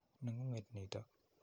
Neng'ung'et nitok.